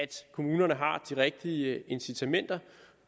kommunerne har de rigtige incitamenter